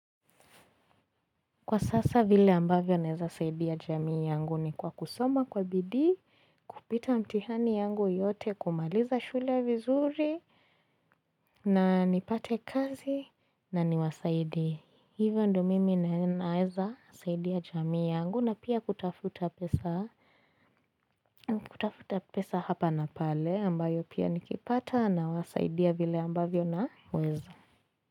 Kwa sasa vile ambavyo naeza saidia jamii yangu ni kwa kusoma kwa bidii, kupita mtihani yangu yote, kumaliza shule vizuri na nipate kazi na niwasaidie. Hivyo ndio mimi naeza saidia jamii yangu na pia kutafuta pesa kutafuta pesa hapa na pale ambayo pia nikipata nawasaidia vile ambavyo naweza.